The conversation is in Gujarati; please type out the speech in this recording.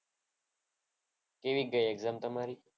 કેવી ગઈ exam તમારી?